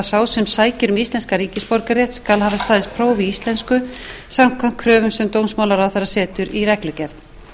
sá sem sækir um íslenskan ríkisborgararétt skal hafa staðist próf í íslensku samkvæmt kröfum sem dómsmálaráðherra setur í reglugerð